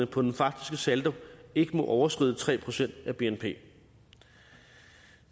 på den faktiske saldo ikke må overskride tre procent af bnp